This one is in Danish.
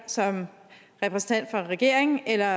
som repræsentant for regeringen eller